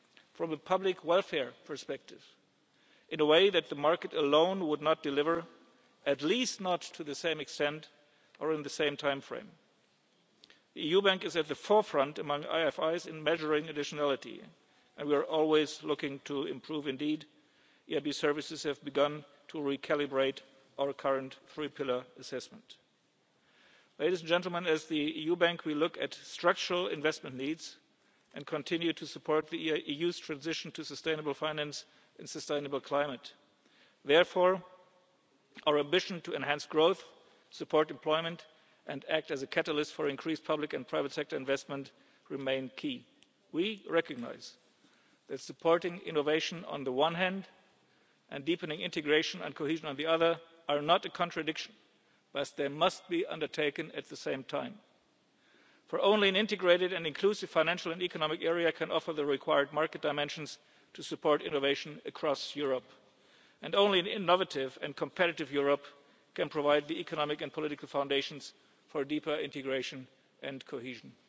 or strengthens an eligible project from the public welfare perspective in a way that the market alone would not deliver, at least not to the same extent or in the same timeframe. The EIB is at the forefront among IFIs in measuring additionality, and we are always looking to improve. The EIB services have begun to recalibrate our current three pillar assessment. Ladies and gentlemen, as the EU Bank, we look at structural investment needs and continue to support the EU's transition to sustainable finance and sustainable climate. Therefore, our ambition to enhance growth, support employment and act as a catalyst for increased public and private sector investment remains key. We recognise that supporting innovation on the one hand, and deepening integration and cohesion on the other, are not a contradiction as they must be undertaken at the same time. Only an integrated and inclusive financial and economic area can offer the required market dimensions to support innovation across Europe, and only an innovative and competitive Europe can provide the economic and political foundations